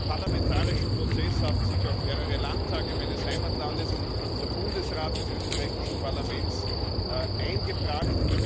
In den parlamentarischen Prozess haben sich auch mehrere Landtage meines Heimatlandes und der Bundesrat des österreichischen Parlaments eingebracht.